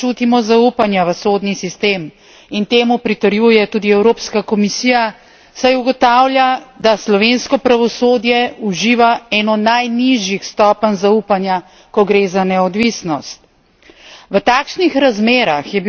Zelo zaskrbljujoče je, da državljani ne čutimo zaupanja v sodni sistem in temu pritrjuje tudi Evropska komisija, saj ugotavlja, da slovensko pravosodje uživa eno najnižjih stopenj zaupanja, ko gre za neodvisnost.